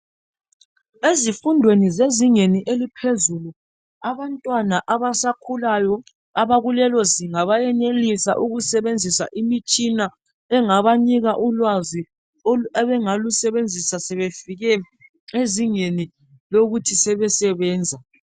Ezifundweni zezingeni eliphezulu abantwana abasakhulayo abakulelo zinga bayenelisa ukusebenzisa imitshina engabanika ulwazi abangalusebenzisa sebefike ezingeni lokuthi sebesebenza.